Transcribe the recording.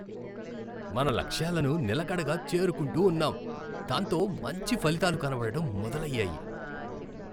మన లక్ష్యాలను నిలకడగా చేరుకుంటూ ఉన్నాం, దాంతో మంచి ఫలితాలు కనపడటం మొదలయ్యాయి.